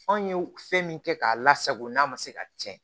Anw ye fɛn min kɛ k'a lasago n'a ma se ka tiɲɛ